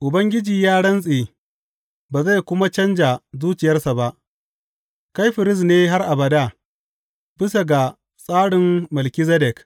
Ubangiji ya rantse ba zai kuma canja zuciyarsa ba, Kai firist ne har abada, bisa ga tsarin Melkizedek.